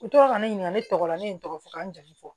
U tora ka ne ɲininka ne tɔgɔ la ne ye n tɔgɔ fɔ ka n jamu fɔ